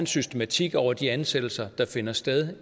systematik over de ansættelser der finder sted